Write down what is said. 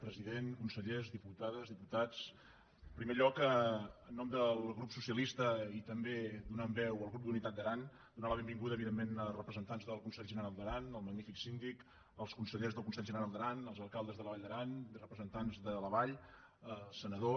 president consellers diputades diputats en primer lloc en nom del grup socialista i també donant veu al grup d’unitat d’aran donar la benvinguda evidentment a representants del consell general d’aran al magnífic síndic als consellers del consell general d’aran als alcaldes de la vall d’aran i representants de la vall senador